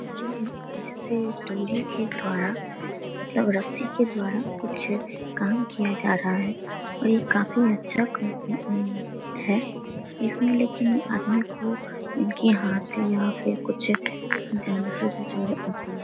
डोरियो के द्वारा मतलब रस्सी के द्वारा कुछ काम किया जा रहा है। और ये काफी अच्छा है। इसमें लेकिन आदमी को इनके हाथ या फिर कुछ जाने के कुछ अथी --